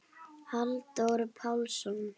Halldór Pálsson